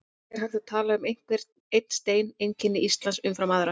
En er hægt að tala um að einhver einn steinn einkenni Ísland umfram aðra?